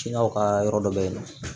Cilaw ka yɔrɔ dɔ bɛ yen nɔ